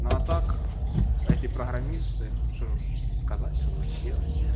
ну а так эти программисты что же сказать что делать